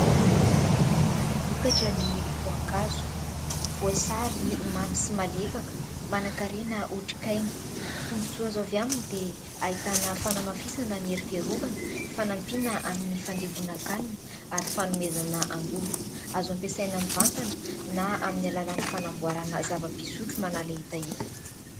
Vokatra ny voankazo, voasary mamy sy malefaka ; mana-karena otrikaina. Tombon-tsoa azo avy aminy dia ahitana fanamafisana ny hery fiarovana ; fanampiana amin'ny fandevonankanina ary fanomezana angovo. Azo hampiasaina mivantana na amin'ny alalan'ny fanamboarana zava-pisotro manala hetaheta.